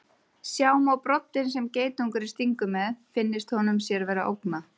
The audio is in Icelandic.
Sjá má broddinn sem geitungurinn stingur með finnist honum sér vera ógnað.